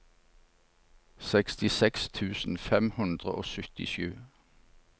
sekstiseks tusen fem hundre og syttisju